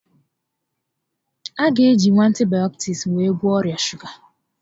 A gá e jinwu antibayọtiks were gwọọ ọrià shuga